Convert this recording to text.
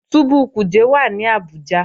Túbú Kuje wà ní Abuja